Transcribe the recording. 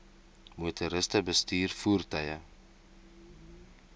motoriste bestuur voertuie